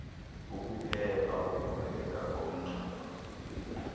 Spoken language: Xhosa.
kukuphepha ukuvaleka komngxuma